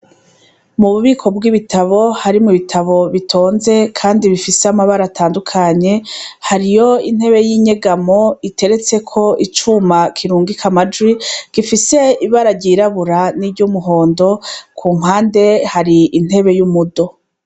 Mububiko bwibitabo harimwo ibitabo bitonze bifise amabara atandukanye hariho intebe yi ngegamwo yanditseko icuma canditseko gifise ibara ryirabura niryumuhondo kuruhande hari intebe yumudo